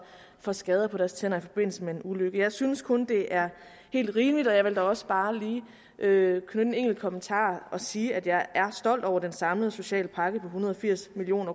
får skader på deres tænder i forbindelse med en ulykke jeg synes kun det er helt rimeligt og jeg vil da også bare lige knytte en enkelt kommentar til og sige at jeg er stolt over den samlede sociale pakke på en hundrede og firs million